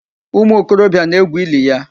Umu okorobịa na-egwu ili ya.